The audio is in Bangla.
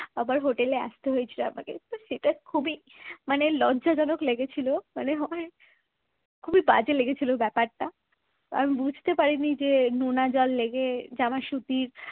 আবার হোটেলে আসতে হয়েছিল আমাকে তো সেটা খুবই মানে লজ্জাজনক লেগেছিল মানে হয় খুবই বাজে লেগেছিল ব্যাপারটা। তো আমি বুঝতে পারিনি যে নোনা জল লেগে জামা সুতির